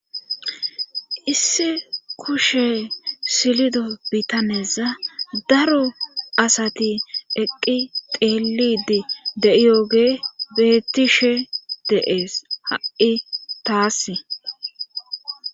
Issi kushe silido bitaneza daro asati eqqi teelidi de7iyogee bettishe deees ha7i taassi.